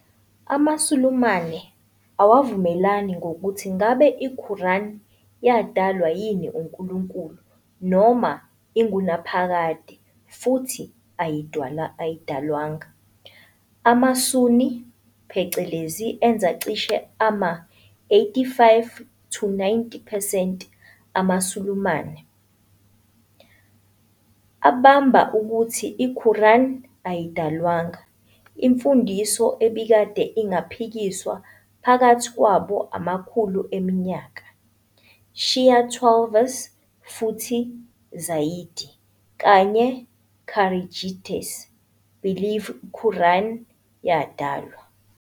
AmaSulumane awavumelani ngokuthi ngabe iQuran yadalwa yini uNkulunkulu noma ingunaphakade futhi ayidalwanga. AmaSunni phecelezi enza cishe ama-85-90 percent amaSulumane, abamba ukuthi iQuran ayidalwanga - imfundiso ebikade ingaphikiswa phakathi kwabo amakhulu eminyaka. Shia Twelvers futhi Zaydi, kanye Kharijites -believe Quran yadalwa.